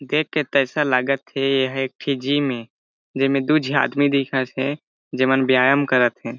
देख के तो ऐसा लगत हे एहा एक ठी जिम ए जेमे दू झी आदमी दिखत हे जेमन व्यायाम करत हे।